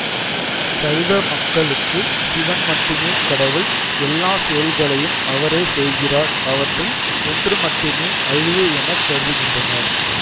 சைவ மக்களுக்கு சிவன் மட்டுமே கடவுள் எல்லா செயல்களையும் அவரே செய்கிறார் அவற்றில் ஒன்று மட்டுமே அழிவு என கருதுகின்றனர்